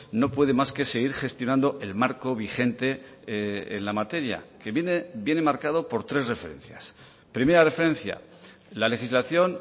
no puede más que seguir gestionando el marco vigente en la materia que viene marcado por tres referencias primera referencia la legislación